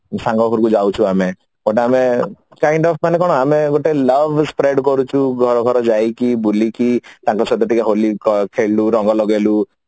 ସାଙ୍ଗ ଘରକୁ ଯାଉଛୁ ଆମେ but ଆମେ kind of ମାନେ କଣ ଆମେ ଗୋଟେ love spread କରୁଛୁ ଘର ଘର ଯାଇକି ବୁଲିକି ତାଙ୍କ ସହିତ ଟିକେ ହୋଲି ଖେଳିଲୁ ରଙ୍ଗ ଲଗେଇଲୁ